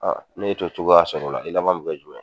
Ne te cogoya sɔrɔ o la, i laban min kɛ jumɛn ye ?